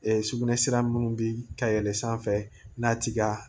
sugunɛ sira munnu bi ka yɛlɛ sanfɛ n'a tig'a la